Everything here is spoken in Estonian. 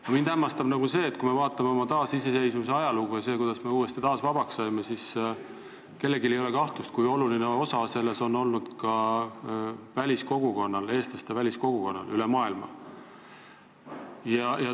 Aga mind hämmastab see, et kui me vaatame oma taasiseseisvuse ajalugu ja seda, kuidas me uuesti vabaks saime, siis kellelgi ei ole kahtlust, kui oluline osa selles on olnud väliseesti kogukonnal üle maailma.